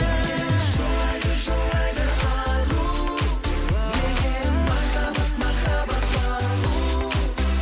неге жылайды жылайды ару неге махаббат махаббат балу